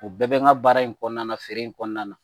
U bɛɛ bɛ n ka baara in kɔnɔna na feere in kɔnɔna na